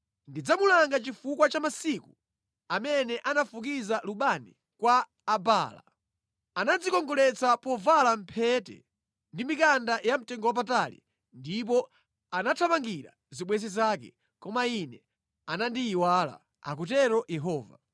Ndidzamulanga chifukwa cha masiku amene anafukiza lubani kwa Abaala; anadzikongoletsa povala mphete ndi mikanda yamtengowapatali ndipo anathamangira zibwenzi zake, koma Ine anandiyiwala,” akutero Yehova.